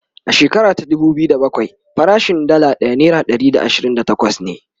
a shekara ta dubu biyu da bakwai farashin Dalla ɗaya naira Ɗari da ashirin da takwas ne